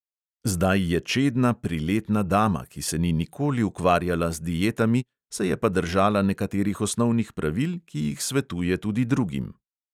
Zdaj je čedna priletna dama, ki se ni nikoli ukvarjala z dietami, se je pa držala nekaterih osnovnih pravil, ki jih svetuje tudi drugim.